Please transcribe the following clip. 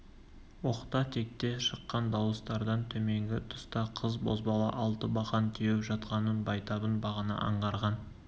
оқта-текте шыққан дауыстардан төменгі тұста қыз-бозбала алтыбақан теуіп жатқанын байтабын бағана аңғарған